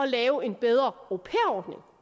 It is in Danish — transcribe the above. lave en bedre au